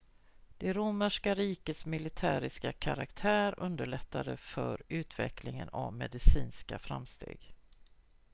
det romerska rikets militäriska karaktär underlättade för utvecklingen av medicinska framsteg